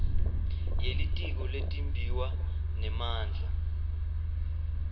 yelitiko letimbiwa nemandla